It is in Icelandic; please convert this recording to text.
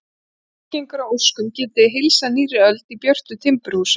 Ef allt gengur að óskum getið þið heilsað nýrri öld í björtu timburhúsi.